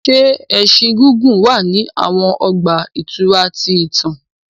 Ṣe ẹṣin gigun wa ni awọn ọgba-ìturá ti itan?